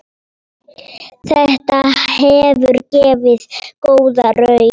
Þetta hefur gefið góða raun.